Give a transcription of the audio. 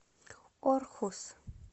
орхус